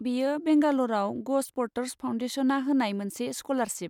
बेयो बेंगाल'राव ग'स्प'र्ट्स फाउन्डेसनआ होनाय मोनसे स्क'लारशिप।